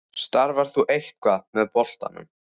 Starfar þú eitthvað með boltanum?